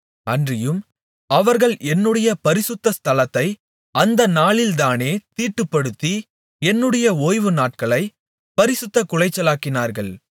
அன்றியும் அவர்கள் என்னுடைய பரிசுத்த ஸ்தலத்தை அந்தநாளிலேதானே தீட்டுப்படுத்தி என்னுடைய ஓய்வு நாட்களைப் பரிசுத்தக்குலைச்சலாக்கினார்கள்